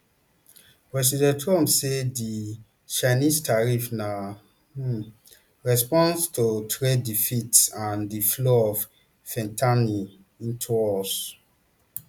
president trump say di chinese tariffs na um response to trade deficits and di flow of fentanyl um into us